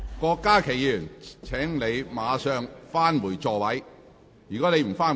郭家麒議員，請立即返回座位。